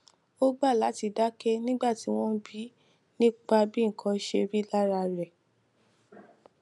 ó gbà láti dáké nígbà tí wón bi í nípa bí nǹkan ṣe rí lára rè